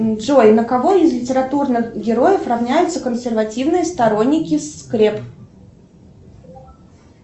джой на кого из литературных героев ровняются консервативные сторонники скреп